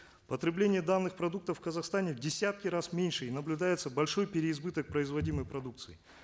потребление данных продуктов в казахстане в десятки раз меньше и наблюдается большой переизбыток производимой продукции